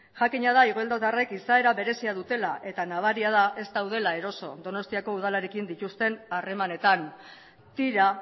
jakina da igeldodarrek izaera berezia dutela eta nabaria da ez daudela eroso donostiako udalarekin dituzten harremanetan tira